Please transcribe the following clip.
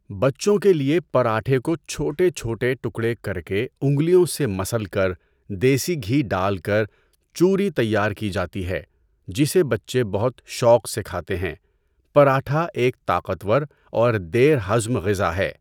بچوں کے لیے پراٹھے کو چھوٹے چھوٹے ٹکڑے کر کے انگلیوں سے مسل کر دیسی گھی ڈال کر چوری تیار کی جاتی ہے جسے بچے بہت شوق سے کھاتے ہیں۔ پراٹھا ایک طاقتور اور دیر ہضم غذا ہے۔